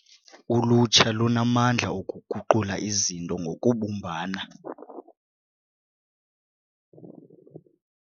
Ulutsha lunamandla okuguqula izinto ngokubumbana.